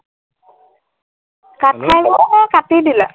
কাটি দিলা।